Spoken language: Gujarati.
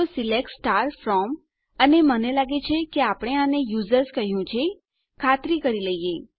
તો સિલેક્ટ ફ્રોમ અને મને લાગે છે કે આપણે આને યુઝર્સ કહ્યું છે ચાલો ખાતરી કરી લઈએ